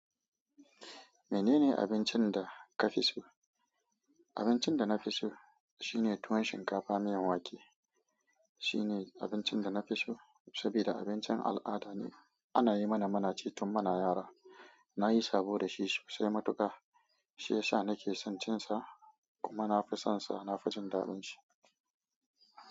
Menene abincin da ka fi so? Abincin da na fi so shine tuwon shinkafa miyan wake. Shine abincin da na fi so saboda abincin al'ada ne. Ana yi mana muna ci tun muna yara. Na yi sabo da shi sosai matuƙa shiyasa na ke son cin sa kuma na fi son sa. Na fi jin daɗin shi.